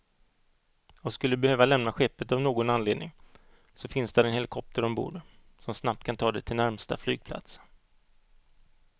Och skulle du behöva lämna skeppet av någon anledning så finns där en helikopter ombord, som snabbt kan ta dig till närmsta flygplats.